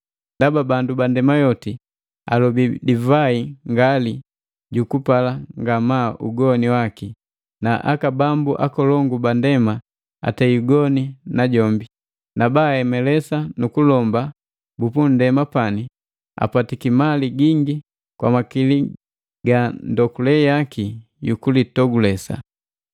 Ndaba bandu ba ndema yoti alobii divai ngali jukupala ngamaa ugoni waki, na aka bambu akolongu ba ndema atei ugoni na jombi. Na baa hemelesa nu kulomba bu punndema pani apatiki mali gingi kwa makili ga ndokule yaki yukulitogulesa.”